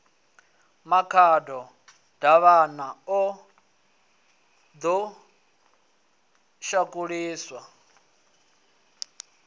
makhado davhana o ḓo shakuliswa